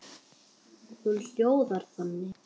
Hún hljóðar þannig: